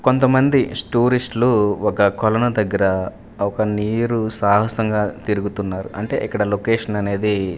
కొంతమంది స్టూరిస్ట్ లు ఒక కొలను దగ్గర ఒక నీరు సాహసంగా తిరుగుతున్నారు అంటే ఇక్కడ లొకేషన్ అనేది.